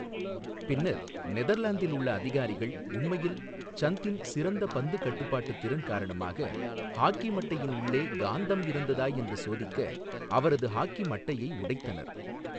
பின்னர், நெதர்லாந்தில் உள்ள அதிகாரிகள் உண்மையில் சந்தின் சிறந்த பந்து கட்டுப்பாட்டுத் திறன் காரணமாக, ஹாக்கி மட்டையின் உள்ளே காந்தம் இருந்ததா என்று சோதிக்க அவரது ஹாக்கி மட்டையை உடைத்தனர்.